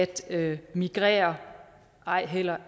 til at migrere og ej heller